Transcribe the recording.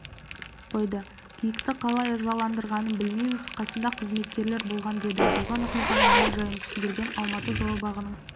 қойды киікті қалай ызаландырғанын білмейміз қасында қызметкерлер болмаған деді болған оқиғаның мән-жайын түсіндірген алматы зообағының